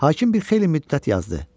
Hakim bir xeyli müddət yazdı.